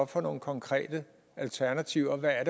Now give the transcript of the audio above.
for nogle konkrete alternativer og hvad